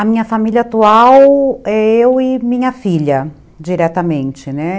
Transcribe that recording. A minha família atual é eu e minha filha, diretamente, né?